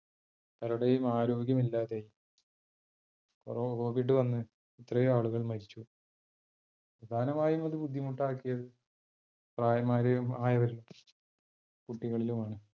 പലരുടെയും ആരോഗ്യം ഇല്ലാതായി covid വന്ന് എത്രയോ ആളുകൾ മരിച്ചു. പ്രധാനമായും അത് ബുദ്ധിമുട്ട് ആക്കിയത് പ്രായമായവരിലും കുട്ടികളിലും ആണ്.